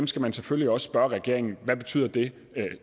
skal man selvfølgelig også spørge regeringen hvad betyder det